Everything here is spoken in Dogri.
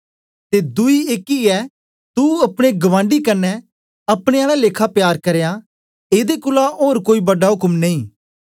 ते दुई एकी ऐ तू अपने गबांडी कन्ने अपने आला लेखा प्यार करयां एदे कोलां ओर कोई बड़ा उक्म नेई